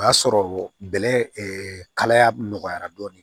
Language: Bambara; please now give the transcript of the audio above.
O y'a sɔrɔ bɛlɛ kalaya nɔgɔyara dɔɔni